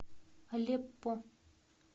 алеппо